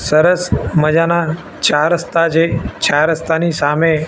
સરસ મજાના ચાર રસ્તા છે ચાર રસ્તાની સામે--